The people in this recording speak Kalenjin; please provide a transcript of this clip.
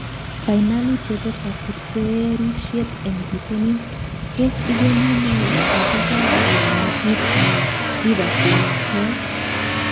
Fainali chebo kateterishiet eng bitonin: tos igeni ne shabik ab Real Madrid ak Liverpool Kiev?